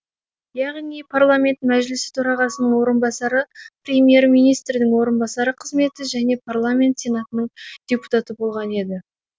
яғни парламент мәжілісі төрағасының орынбасары премьер министрдің орынбасары қызметі және парламент сенатының депутаты болған еді